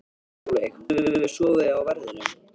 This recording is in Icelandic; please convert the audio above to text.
Sólveig: Höfum við sofið á verðinum?